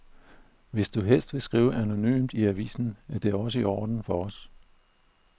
Hvis du helst vil skrive anonymt i avisen, er det også i orden for os.